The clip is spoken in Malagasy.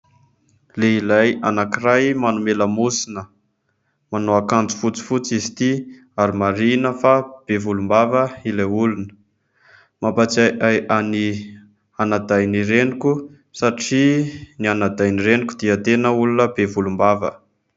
Lehilahy anankiray manome lamosina, manao akanjo fotsifotsy izy ity ary marihina fa be volombava ilay olona. Mampatsiahy ahy ny anadahin'ny reniko satria ny anadahin'ny reniko dia tena olona be volombava.